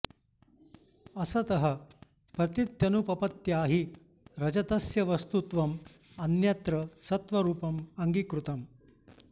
असतः प्रतीत्यनुपपत्या हि रजतस्य वस्तुत्वं अन्यत्र सत्त्वरुपं अङ्गीकृतम्